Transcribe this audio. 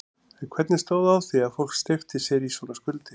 En hvernig stóð á því að fólk steypti sér í svona skuldir?